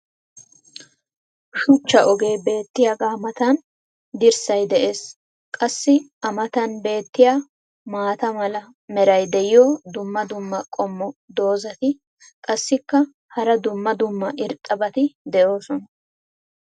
shuchcha ogee beetiyaagaa matan dirssay de'ees. qassi a matan beetiya maata mala meray diyo dumma dumma qommo dozzati qassikka hara dumma dumma irxxabati doosona.